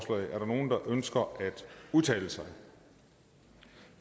for sig